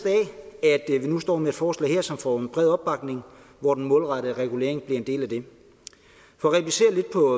det er vi nu står med et forslag her som får bred opbakning og hvor den målrettede regulering bliver en del af det for at replicere lidt på